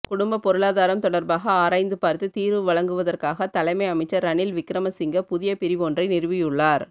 குடும்பப் பொருளாதாரம் தொடர்பாக ஆராய்ந்து பார்த்து தீர்வு வழுங்கவதற்காக தலமை அமைச்சர் ரணில் விக்கிரம சிங்க புதிய பிரிவொன்றை நிறுவியுள்ளார்